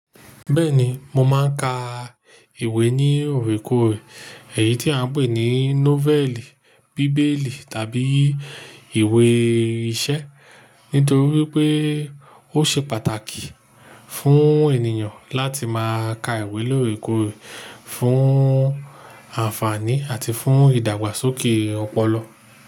Bẹ́ẹ̀ni mo máa ń ka ìwé ní òrekoòrè, èyí tí a ń pè ní nọ́vẹ̀lì, bíbélì tàbí ìwé iṣẹ́. Nítorí pé ó ṣe pàtàkì fún ènìyàn láti máa ka ìwé lórekoòrè fún àǹfààní àti fún ìdàgbàsókè ọpọlọ.